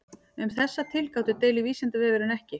Um þessar tilgátur deilir Vísindavefurinn ekki.